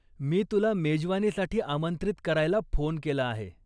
मी तुला मेजवानीसाठी आमंत्रित करायला फोन केला आहे.